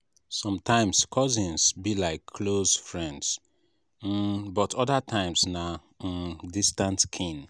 sometimes cousins be like close friends um but other times na um distant kin.